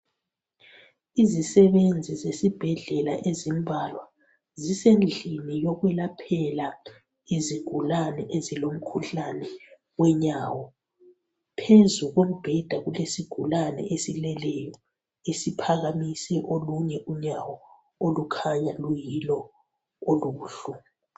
Izisebenzi zesibhedlela ezimbalwa zisendlini yokwelaphela izigulane ezilomkhuhlane wenyawo phezu kombheda kulesigulane esileleyo esiphakamise olunye unyawo olukhanya luyilo olubuhlungu.